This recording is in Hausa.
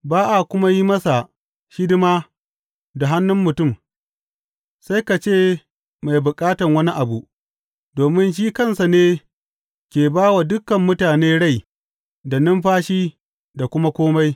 Ba a kuma yin masa hidima da hannun mutum, sai ka ce mai bukatan wani abu, domin shi kansa ne ke ba wa dukan mutane rai da numfashi da kuma kome.